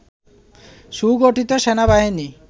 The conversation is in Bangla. সুগঠিত সেনাবাহিনী